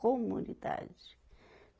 Comunidade.